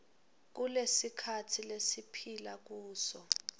kulesikhatsi lesiphila kuso